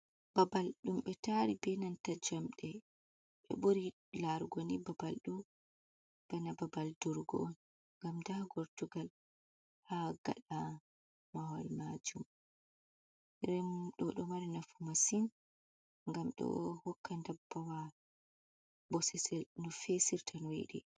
Babal ɗum be tari be nanta jamɗe. Ɓe ɓuri larugo ni babal ɗo bana babal durugo’on gam nda gortugal ha gaɗa mahol majum. Den ɗo mari nafu masin gam ɗo hokka ndabbawa bosesel no fesirta noyidi.